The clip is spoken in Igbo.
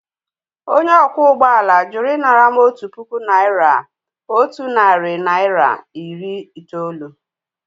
Onye ọkwọ ụgbọ ala jụrụ ịnara m otu puku naịra otu narị naịra iri itoolu